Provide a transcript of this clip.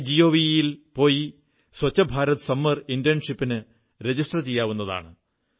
my GOV യിൽ പോയി Swachh Bharat summer ഇന്റേൺഷിപ്പിന് രജിസ്റ്റർ ചെയ്യാവുന്നതാണ്